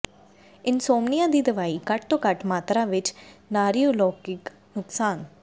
insomnia ਦੀ ਦਵਾਈ ਘੱਟ ਤੋਂ ਘੱਟ ਮਾਤਰਾ ਵਿੱਚ ਨਾਰੀਓਲੌਗਿਕ ਨੁਕਸਾਨ